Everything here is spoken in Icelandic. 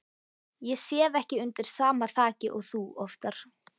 Ég sef ekki undir sama þaki og þú oftar.